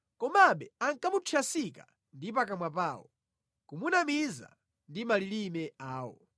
Komabe ankamuthyasika ndi pakamwa pawo, kumunamiza ndi malilime awo;